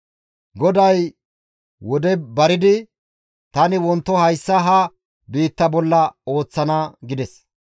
GODAY wode baridi, «Tani wonto hayssa ha biitta bolla ooththana» gides.